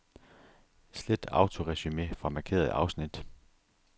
Slet autoresumé fra markerede afsnit.